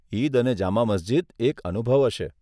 ઈદ અને જામા મસ્જીદ એક અનુભવ હશે.